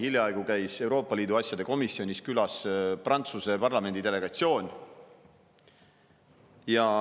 Hiljaaegu käis Euroopa Liidu asjade komisjonis külas Prantsuse parlamendi delegatsioon.